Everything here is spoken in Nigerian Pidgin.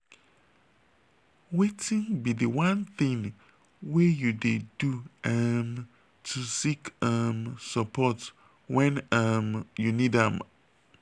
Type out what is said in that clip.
wetin be di one thing wey you dey do um to seek um support when um you need am?